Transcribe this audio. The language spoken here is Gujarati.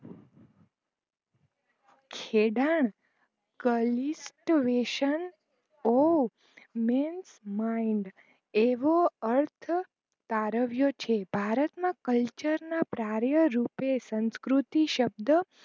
ખેડા એવો અર્થ તરવ્યો છે ભારતમાં કલ્ચરના પ્રારયારૂપે સંકૃતિ શબ્દ